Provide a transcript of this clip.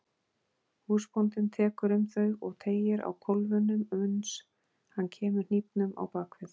Húsbóndinn tekur um þau og teygir á kólfunum uns hann kemur hnífnum á bak við.